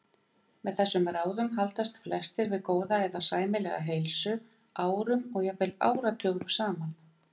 Með þessum ráðum haldast flestir við góða eða sæmilega heilsu árum og jafnvel áratugum saman.